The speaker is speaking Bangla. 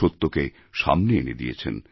সত্যকে সামনে এনে দিয়েছেন